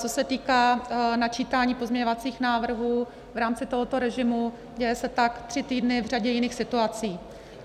Co se týká načítání pozměňovacích návrhů v rámci tohoto režimu, děje se tak tři týdny v řadě jiných situací.